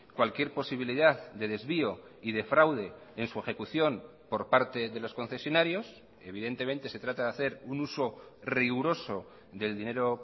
cualquier posibilidad de desvío y de fraude en su ejecución por parte de los concesionarios evidentemente se trata de hacer un uso riguroso del dinero